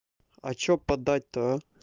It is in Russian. а что подать-то а